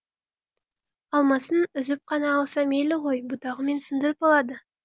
алмасын үзіп қана алса мейлі ғой бұтағымен сындырып алады